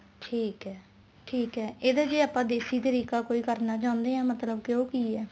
ਠੀਕ ਹੈ ਠੀਕ ਹੈ ਇਹਦਾ ਜੇ ਕੋਈ ਆਪਾਂ ਦੇਸੀ ਤਰੀਕਾ ਕਰਨਾ ਚਾਹੁੰਦੇ ਹਾਂ ਤਾਂ ਉਹ ਮਤਲਬ ਕੀ ਹੈ